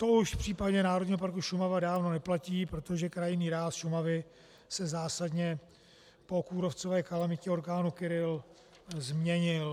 To už v případě Národního parku Šumava dávno neplatí, protože krajinný ráz Šumavy se zásadně po kůrovcové kalamitě orkánu Kyrill změnil.